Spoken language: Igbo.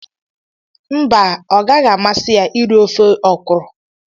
Mba, ọ gaghị amasị ya iri ofe ọkwụrụ